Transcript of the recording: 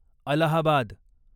Allahabad